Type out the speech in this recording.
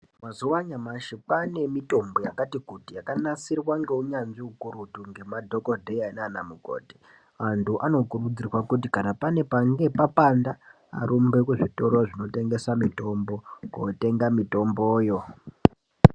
Mazuva anyamashi kwane mitombo yakati kuti yakanasirwa ngeunyanzvi ukurutu nemadhokoteya nana mukoti vantu vano kurudzirwa kuti pane panenge papanda arumbe kuzvitoro zvinotengeswa mitombo kotenga mitomboyo.